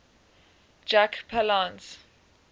jack palance